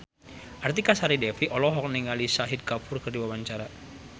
Artika Sari Devi olohok ningali Shahid Kapoor keur diwawancara